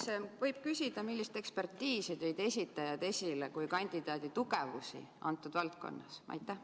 Kas võib küsida, millist ekspertiisi tõid esitajad kandidaadi tugevusena selles valdkonnas esile?